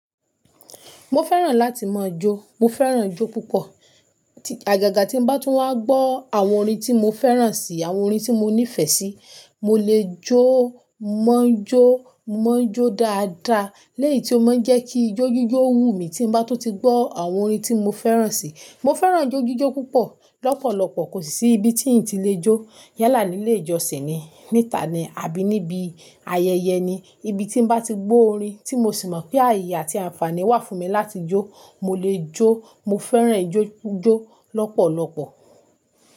Mo fẹ́ràn láti máa jó. Mo fẹ́ràn jó púpọ̀. Àgàgà tí mo bá tún wá gbọ́ àwọn orin tí mo fẹ́ràn si, àwọn orin tí mo nífẹ̀ẹ́ sí, mo lè jó, mọ́ jó, mọ́ jó dáadáa. Lẹ́yìn tí ó máa ń jẹ́ kí ijó jíjó wú mi tí mo bá tó ti gbọ́ àwọn orin tí mo fẹ́ràn si. Mo fẹ́ràn ijó jíjó púpọ̀. Lọ́pọ̀lọpọ̀ kò sì sí ibi tí n ò tí lè jó. Yálà ní ilé ìjọsìn ni, níta ni, àbí níbi ayẹyẹ ni. Ibi tí n bá ti gbọ́ orin tí mo sì mọ̀ pé àyè àti àǹfààní wà fún mi láti jó, mo lè jó. Mo fẹ́ràn jó jó lọ́pọ̀lọpọ̀.